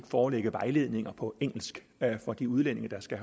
forelægge vejledninger på engelsk for de udlændinge der skal